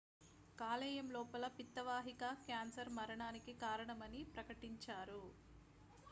కాలేయం లోపల పిత్త వాహిక క్యాన్సర్ మరణానికి కారణమని ప్రకటించారు